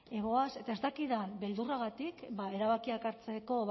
goaz eta ez dakit den beldurragatik erabakiak hartzeko